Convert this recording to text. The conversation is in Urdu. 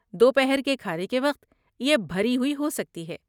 دوپہر کے کھانے کے وقت یہ بھری ہوئی ہو سکتی ہے۔